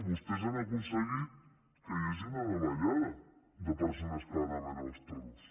vostès han aconseguit que hi hagi una davallada de persones que van a veure els toros